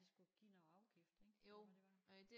De skulle give noget afgift ik ved hvad det var